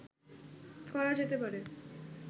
করা যেতে পারে